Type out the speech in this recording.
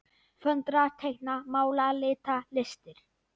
Föndra- teikna- mála- lita- listir